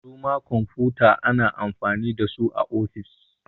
Su ma kwamfuta ana amfani da su a ofis